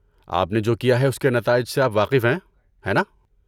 آپ نے جو کیا ہے اس کے نتائج سے آپ واقف ہیں، ہے نا؟